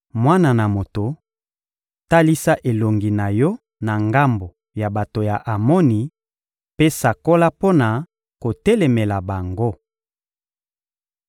«Mwana na moto, talisa elongi na yo na ngambo ya bato ya Amoni mpe sakola mpo na kotelemela bango.